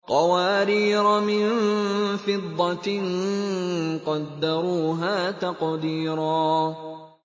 قَوَارِيرَ مِن فِضَّةٍ قَدَّرُوهَا تَقْدِيرًا